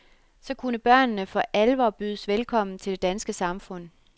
Så kunne børnene for alvor bydes velkommen til det danske samfund.